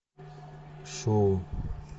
шоу